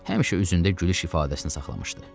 Həmişə üzündə gülüş ifadəsini saxlamışdı.